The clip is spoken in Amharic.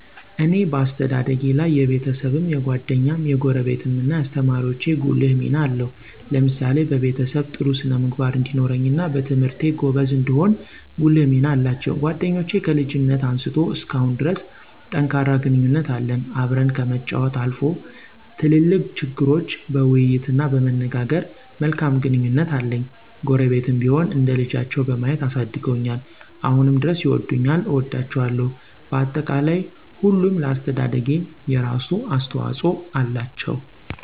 እኔ በአስተዳደጊ ላይ የቤሰብም፣ የጓደኛም፣ የጎረቤትም እናየአሰተማሪወቸ ጉልህ ሚና አለው። ለምሳሌ በቤሰብ ጥሩ ስነ-ምግባር እንዲኖረኝና በትምህርቴ ጎበዝ እንድሆን ጉልህ ሚና አላቸው። ጓደኞቸ ከልጅነት አንስቶ እስካሁን ድረስ ጠንካራ ግንኙነት አለን። አብረን ከመጫወች አልፎ ትልልቅ ችግሮች በይይት እና በመነጋገር መልካም ግንኙነት አለኝ። ጎረቤትም ቢሆን እንደልቻቸው በማየት አሳድገውኛል አሁንም ድረስ ይወዱኛል እወዳቸዋለሁ። በአጠቃላይ ሁሉም ለአሰተደደጊ የራሱ አሰተዋፅኦ አላቸው።